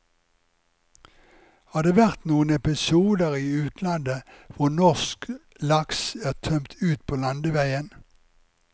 Har det vært noen episoder i utlandet hvor norsk laks er tømt ut på landeveien?